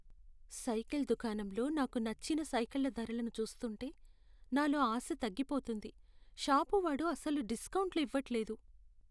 Cycle దుకాణంలో నాకు నచ్చిన సైకిళ్ల ధరలను చూస్తూంటే నాలో ఆశ తగ్గిపోతుంది. షాపువాడు అస్సలు డిస్కౌంట్లు ఇవ్వట్లేదు.